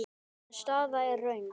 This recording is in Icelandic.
En staðan er þröng.